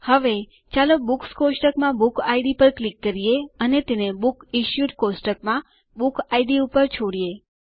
હવે ચાલો બુક્સ કોષ્ટકમાં બુક ઇડ પર ક્લિક કરીએ અને તેને બુક્સ ઇશ્યુડ કોષ્ટકમાં બુક ઇડ ઉપર છોડીયે